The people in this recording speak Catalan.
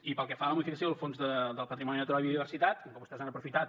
i pel que fa a la modificació del fons del patrimoni natural i biodiversitat com que vostès han aprofitat